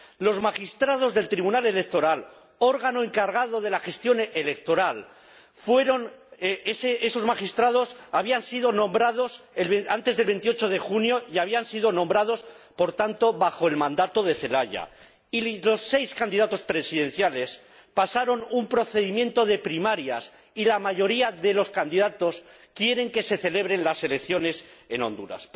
Los magistrados del Tribunal Electoral, órgano encargado de la gestión electoral habían sido nombrados antes del 28 de junio —y habían sido nombrados, por tanto, bajo el mandato de Zelaya—, y los seis candidatos presidenciales pasaron un procedimiento de primarias, y la mayoría de los candidatos quieren que se celebren las elecciones en Honduras.